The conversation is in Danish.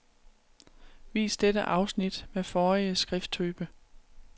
Vis dette afsnit med forrige skrifttype.